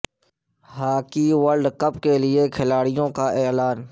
ہا کی world cup کےئلے کھلا ڑ یو ں کا اعلا ن